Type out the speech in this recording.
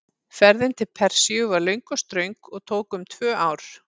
Ferðin til Persíu var löng og ströng og tók um tvö ár.